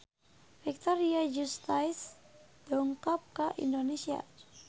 Victoria Justice dongkap ka Indonesia